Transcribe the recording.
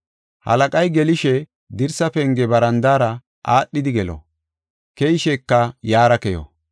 Halaqay gelishe, dirsa penge barandaara aadhidi gelo; keyisheka yaara keyo.